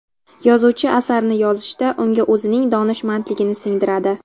Yozuvchi asarni yozishda, unga o‘zining donishmandligini singdiradi.